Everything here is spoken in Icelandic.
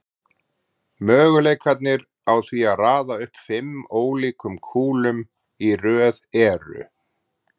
Möguleikarnir á því að raða upp fimm ólíkum kúlum í röð eru